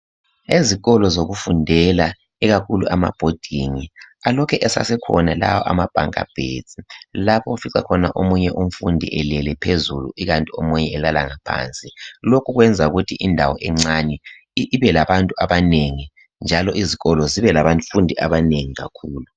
Ezikolo zokufundela ikakhulu ama boarding alokhe esakhona ama bunker bed lapho othola omunye umfundi elele phezulu omunye elala ngaphansi lokhu kwenza ukuthi indawo encane ibe labantu abanengi njalo zikolo zibe labafundi abanengi kakhulu.